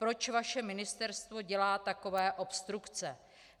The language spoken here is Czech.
Proč vaše ministerstvo dělá takové obstrukce?